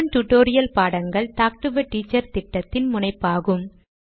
spoken tutorial பாடங்கள் talk to a teacher திட்டத்தின் முனைப்பாகும்